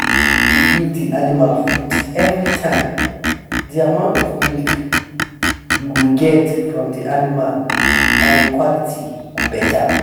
when you dey give de animal food everytime de amount of milk you go get from de animal and em quality go better